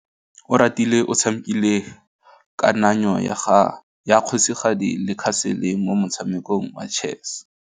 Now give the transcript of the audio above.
Oratile o tshamekile kananyô ya kgosigadi le khasêlê mo motshamekong wa chess.